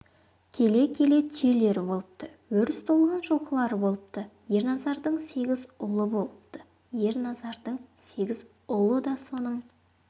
келе-келе түйелері болыпты өріс толған жылқылары болыпты ерназардың сегіз ұлы болыпты ерназардың сегіз ұлы да соның